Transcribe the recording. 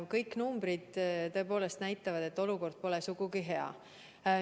Kõik numbrid näitavad, et olukord pole sugugi hea.